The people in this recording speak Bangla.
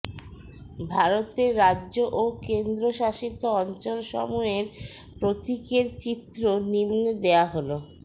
ভারতের রাজ্য ও কেন্দ্রশাসিত অঞ্চলসমূহের প্রতীকের চিত্র নিম্নে দেওয়া হল